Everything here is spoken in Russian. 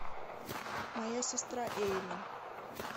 моя сестра эйлин